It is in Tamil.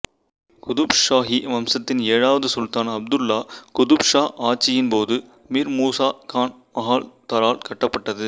குதுப் ஷாஹி வம்சத்தின் ஏழாவது சுல்தான் அப்துல்லா குதுப் ஷா ஆட்சியின் போது மிர் மூசா கான் மஹால்தரால் கட்டப்பட்டது